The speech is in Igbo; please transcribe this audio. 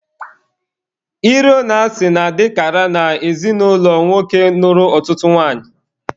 Iro na asị na-adịkara na ezinụlọ nwoke nụrụ ọtụtụ nwanyị.